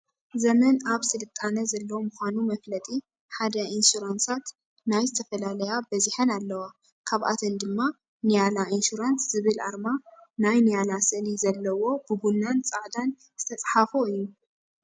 ዘመን ኣብ ስልጣነ ዘሎ ምካኑ መፍለጢ ሓደ ኢንሱራንሳት ናይ ዝተፈላለያ በዚሐን ኣለዋ ካብኣተን ድማ ኒያላ ኢንሹራንስ ዝብል ኣርማ ናይ ኒያላ ስእሊ ዘለዎ ብቡናን ፃዕዳን ዝተፃሓፎ እዩ።